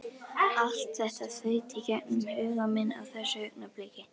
Allt þetta þaut í gegnum huga minn á þessu augnabliki.